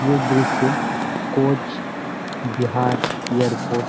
এই দৃশ্যে কোচ বিহার ইয়ের পর--